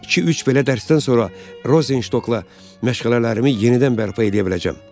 İki-üç belə dərsdən sonra Rozenşokla məşğələlərimi yenidən bərpa eləyə biləcəm.